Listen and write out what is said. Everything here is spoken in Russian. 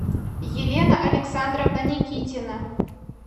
елена александровна никитина